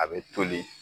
A bɛ toli